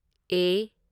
ꯑꯦ